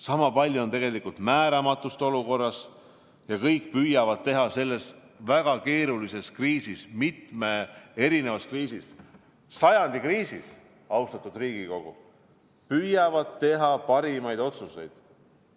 Sama palju on olukorras määramatust ja kõik püüavad teha selles väga keerulises kriisis, mitmes erinevas kriisis, sajandi kriisis, austatud Riigikogu, parimaid otsuseid.